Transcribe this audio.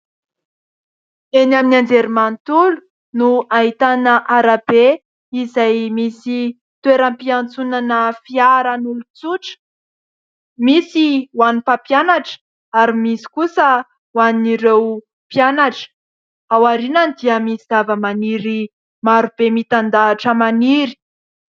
Eny amin'ny anjery manontolo no ahitana arabe izay misy toeram-piantsonana fiarana olon-tsotra. Misy ho an'ny mpampianatra ary misy kosa ho an'ireo mpianatra. Ao aorinany dia misy zavamaniry maro be mitandahatra maniry.